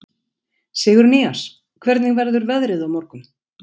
Sigurnýjas, hvernig verður veðrið á morgun?